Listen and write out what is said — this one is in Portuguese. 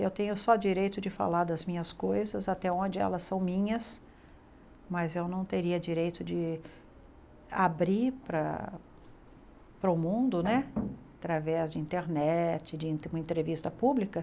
Eu tenho só direito de falar das minhas coisas até onde elas são minhas, mas eu não teria direito de abrir para para o mundo né através de internet, de uma entrevista pública.